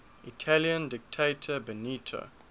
italian dictator benito